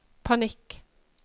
panikk